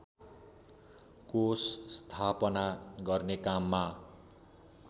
कोष स्थापना गर्ने काममा